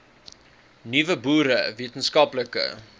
nuwe boere wetenskaplike